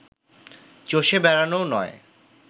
চষে বেড়ানোও নয়